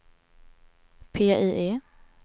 PIE